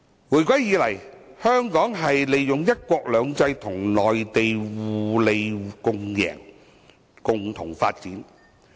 回歸以來，香港在"一國兩制"下與內地互利共贏，共同發展。